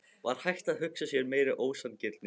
Var hægt að hugsa sér meiri ósanngirni?